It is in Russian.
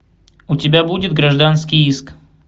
у тебя будет гражданский иск